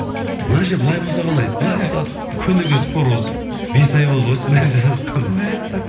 мына жер былай болса қалай былай болса күніге спор осы бес ай болды ғой сценарий жасап жатқанымызға мәссаған